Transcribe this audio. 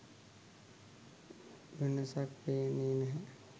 වෙනසක් පේන්නේ නැහැ.